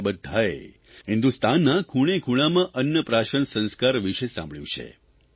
આપણે બધાંએ હિંદુસ્તાનના ખૂણેખૂણામાં અન્નપ્રાશન સંસ્કાર વિષે સાંભળ્યું છે